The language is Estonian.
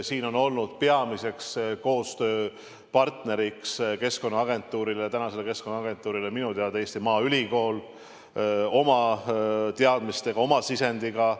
Siin on olnud peamine koostööpartner Keskkonnaagentuuril minu teada Eesti Maaülikool oma teadmistega, oma sisendiga.